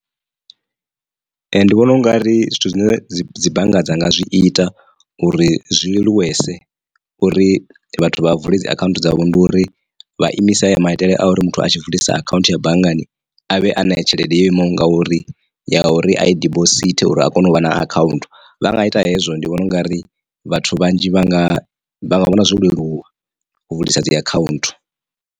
Ndi vhona ungari zwithu zwine dzi dzi bannga dza nga zwi ita uri zwi leluwese uri vhathu vha vule dzi account dzavho. Ndi uri vha imise haya maitele a uri muthu a tshi vulisa akhaunthu ya banngani avhe ana tshelede yo imaho nga uri ya uri i dibosithe uri a kone u vha na account vha nga ita hezwo ndi vhona ungari vhathu vhanzhi vha nga vha vhona zwo leluwa u vulisa dzi account.